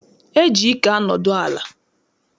E ji ike anodu ala.